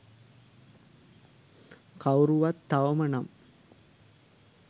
කවුරුවත් තවම නම්